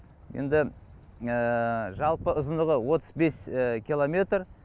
енді жалпы ұзындығы отыз бес километр